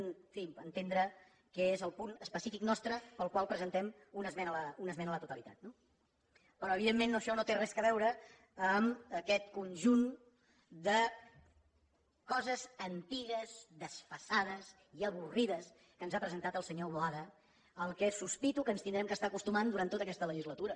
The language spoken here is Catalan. en fi entendre què és el punt específic nostre pel qual presentem una esmena a la totalitat no però evidentment això no té res a veure amb aquest conjunt de coses antigues desfasades i avorrides que ens ha presentat el senyor boada que sospito que ens hi haurem d’anar acostumant durant tota aquesta legislatura